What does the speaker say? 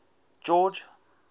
george